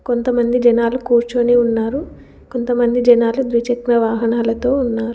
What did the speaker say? కొంతమంది జనాలు కూర్చొని ఉన్నారు. కొంతమంది జనాలు ద్విచక్ర వాహనాలతో ఉన్నారు.